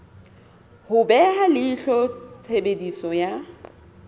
ho beha leihlo tshebediso ya